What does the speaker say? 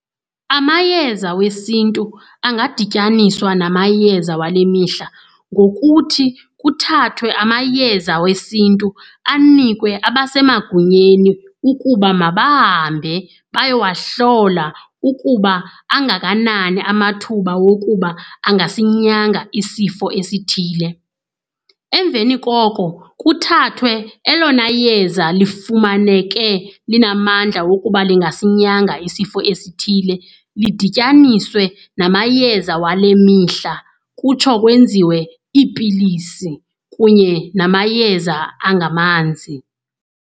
Amayeza wesiNtu angadityaniswa namayeza wale mihla ngokuthi kuthathwe amayeza wesiNtu anikwe abasemagunyeni ukuba mabahambe bayowahlola ukuba angakanani amathuba wokuba angasinyanga isifo esithile. Emveni koko kuthathwe elona yeza lifumaneke linamandla wokuba lingasinyanga isifo esithile, lidityaniswe namayeza wale mihla kutsho kwenziwe iipilisi kunye namayeza angamanzi.